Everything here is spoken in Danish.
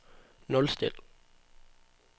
nulstil